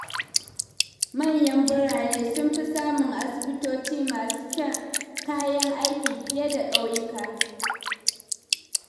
Manyan birane sun fi samun asibitoci masu kayan aiki fiye da ƙauyuka.